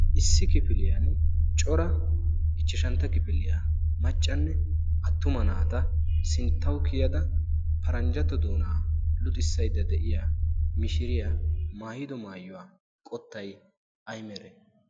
issi kifiliyan cora ichchashantta kifiliyaa maccanne attuma naata sinttau kiyada paranjjato doonaa luxissaydda de'iya mishiriyaa maayido maayuwaa qottay ay mere?